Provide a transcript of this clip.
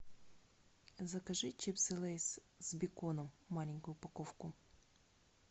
закажи чипсы лейс с беконом маленькую упаковку